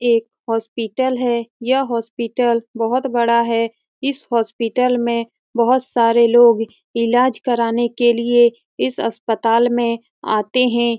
एक हॉस्पिटल है यह हॉस्पिटल बहुत बड़ा है इस हॉस्पिटल में बहुत सारे लोग इलाज कराने के लिए इस अस्पताल में आते है।